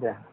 दया